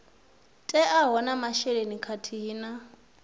teaho na masheleni khathihi na